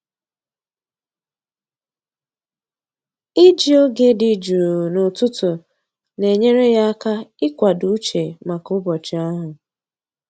Iji oge dị jụụ n'ụtụtụ na-enyere ya aka ịkwado uche maka ụbọchị ahụ.